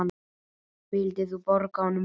Vildir þú borga honum laun?